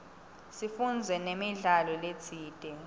sifundze namidlalo letsite